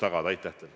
Aitäh teile!